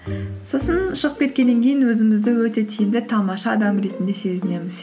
сосын шығып кеткеннен кейін өзімізді өте тиімді тамаша адам ретінде сезінеміз